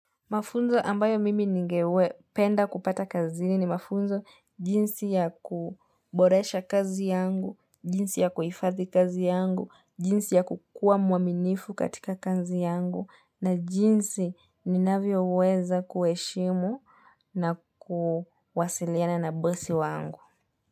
Mafunzo ambayo mimi ningependa kupata kazini ni mafunzo jinsi ya kuboresha kazi yangu, jinsi ya kuifadhi kazi yangu, jinsi ya kukua muaminifu katika kazi yangu, na jinsi ni navyo weza kuheshimu na kuwasiliana na bosi wangu.